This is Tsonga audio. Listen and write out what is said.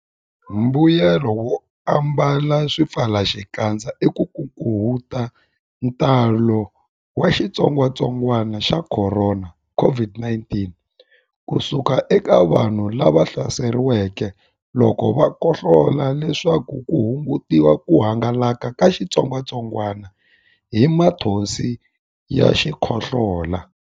Mbuyelonkulu wo ambala swipfalaxikandza i ku hunguta ntalo wa xitsongwantsongwana xa Khorona, COVID-19, ku suka eka vanhu lava hlaseriweke loko va khohlola leswaku ku hungutiwa ku hangalaka ka xitsongwantsongwana lexi hi mathonsi ya xikhohlola.